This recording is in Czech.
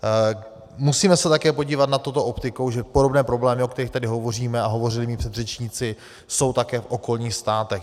Musíme se také podívat na to optikou, že podobné problémy, o kterých tady hovoříme a hovořili mí předřečníci, jsou také v okolních státech.